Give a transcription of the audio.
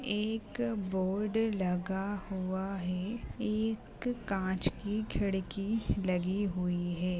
एक बोर्ड लगा हुआ है एक कांच की खिड़की लगी हुई है।